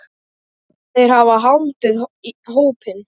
Þeir hafa haldið hópinn.